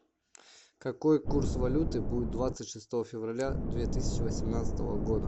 какой курс валюты будет двадцать шестого февраля две тысячи восемнадцатого года